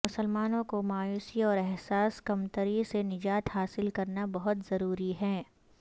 مسلمانوں کو مایوسی اور احساس کمتری سے نجات حاصل کرنا بہت ضروری ہے